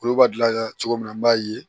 Olu b'a gilan cogo min na an b'a ye